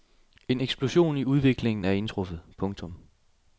En eksplosion i udviklingen er indtruffet. punktum